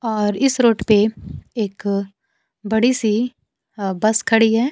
और इस रोड पे एक बड़ी सी अ बस खड़ी है।